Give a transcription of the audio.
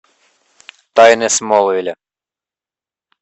тайны смолвиля